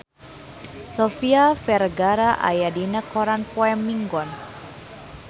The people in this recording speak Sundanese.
Sofia Vergara aya dina koran poe Minggon